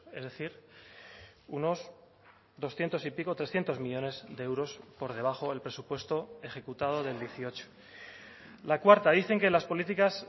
es decir unos doscientos y pico trescientos millónes de euros por debajo el presupuesto ejecutado del dieciocho la cuarta dicen que las políticas